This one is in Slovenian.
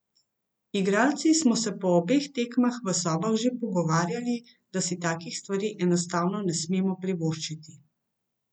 Igralci smo se po obeh tekmah v sobah že pogovarjali, da si takih stvari enostavno ne smemo privoščiti.